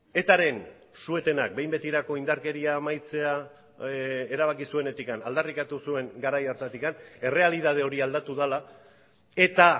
etaren suetenak behin betirako indarkeria amaitzea erabaki zuenetik aldarrikatu zuen garai hartatik errealitate hori aldatu dela eta